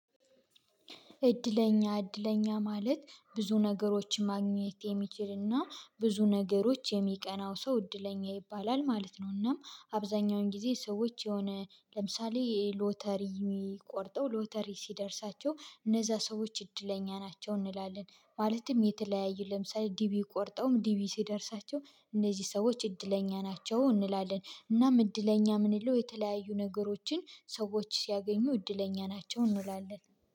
እድለኛ እድለኛ ማለት ብዙ ነገሮችን ማግኘት የሚችልና ብዙ ነገሮች የሚቀናው ሰው እድለኛ ይባላል ማለት ነው። እና አብዛኛውን ጊዜ ሰዎች የሆነ ለምሳሌ የሎተሪ የሚቆርጠው ሎተሪ ሲደርሳቸው እነዛ ሰዎች እድለኛ ናቸው እንላለን። ማለትም የተለያዩ ለምሳሌ ዲቪ ቆርጠውም ዲቪ ሲደርሳቸው እነዚህ ሰዎች እድለኛ ናቸው እንላለን። እናም እድለኛ ምንለው የተለያዩ ነገሮችን ሰዎች ሲያገኙ እድለኛ ናቸው እንላለን